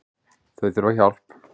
Þau þurfa hjálp